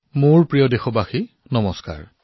মোৰ মৰমৰ দেশবাসীসকল নমস্কাৰ